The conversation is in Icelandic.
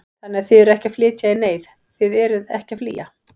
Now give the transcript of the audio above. Þannig að þið eruð ekki að flytja í neyð, þið eruð ekki að flýja?